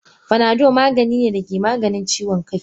Fanado maganine dake Maganin ciwon kai.